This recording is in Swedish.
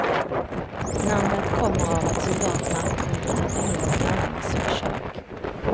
Namnet kommer av att soldaterna kunde titta in i grannarnas kök.